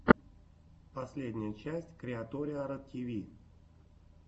последняя часть криаториара тиви